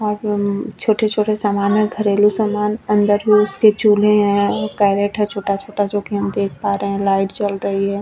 और अ छोटे - छोटे सामान है घरेलु सामान अंदर भी उसके चूल्है है करोट है छोटा - छोटा जो की हम देख पा रहै है लाइट्स जल रही है।